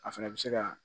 A fana bɛ se ka